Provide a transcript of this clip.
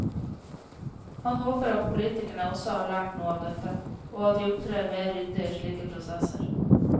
Han håper at politikerne også har lært noe av dette, og at de opptrer mer ryddig i slike prosesser.